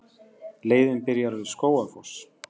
Leiðin byrjar við Skógafoss.